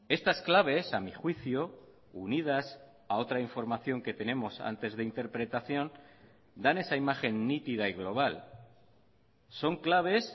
estas claves a mí juicio unidas a otra información que tenemos antes de interpretación dan esa imagen nítida y global son claves